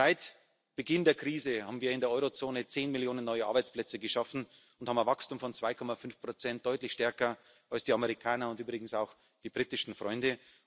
Seit Beginn der Krise haben wir in der Euro Zone zehn Millionen neue Arbeitsplätze geschaffen und haben ein Wachstum von 2,5 deutlich stärker als die Amerikaner und übrigens auch die britischen Freunde.